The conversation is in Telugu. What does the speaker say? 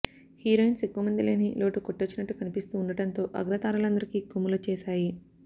హీరోయిన్స్ ఎక్కువమంది లేని లోటు కొట్టొచ్చినట్టు కనిపిస్తూ ఉండడంతో అగ్ర తారలందరికీ కొమ్ములొచ్చేశాయి